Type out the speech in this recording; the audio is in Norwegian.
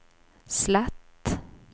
slett